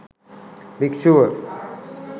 භික්ෂුව